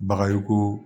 Bagayoko